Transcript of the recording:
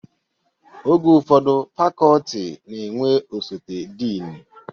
Oge ụfọdụ fakọltị na-enwe osote dịnị